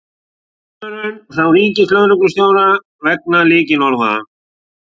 Viðvörun frá ríkislögreglustjóra vegna lykilorða